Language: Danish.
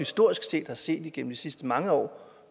har set igennem de sidste mange år